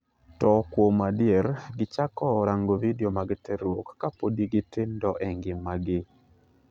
To kuom adier gichako rango vidio mag terruok ka podi gitindo e ngimagi."